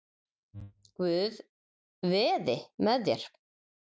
Guð veði með þér.